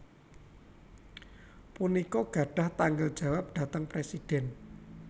punika gadhah tanggel jawab dhateng Presidhèn